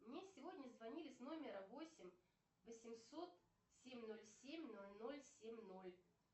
мне сегодня звонили с номера восемь восемьсот семь ноль семь ноль ноль семь ноль